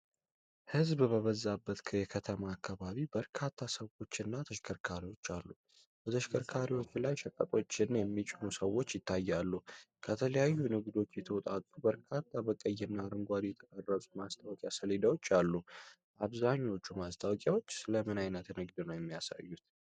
ሕዝብ በበዛበት የከተማ አካባቢ በርካታ ሰዎች እና ተሽከርካሪዎች አሉ። በተሽከርካሪዎች ላይ ሸቀጦችን የሚጫኑ ሰዎች ይታያሉ። ከተለያዩ ንግዶች የተውጣጡ በርካታ በቀይ እና አረንጓዴ የተቀረጹ የማስታወቂያ ሰሌዳዎች አሉ። አብዛኛዎቹ ማስታወቂያዎች ስለ ምን አይነት ንግድ ነው የሚያሳዩት?